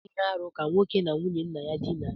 Ọ bu ihe-árú ka nwoke na nwunye nna ya dina.